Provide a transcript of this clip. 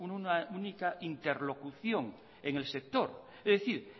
una única interlocución en el sector es decir